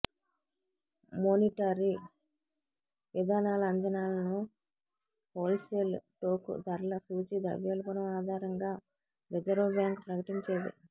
monetary విధానాల అంచనాలను wholesale టోకు ధరల సూచీ ద్రవ్యోల్బణం ఆధారంగా రిజర్వ్ బ్యాంక్ ప్రకటించేది